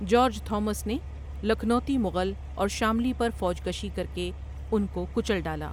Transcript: George Thomas نے لکھنوتی مغل اور شاملی پر فوج کشی کرکے ان کو کچل ڈالا ۔